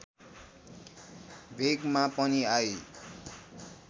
भेगमा पनि आई